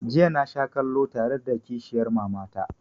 Jiya na sha kallo tare da kishiyar mama ta